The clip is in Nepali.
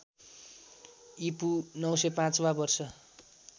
ईपू ९०५ वा वर्ष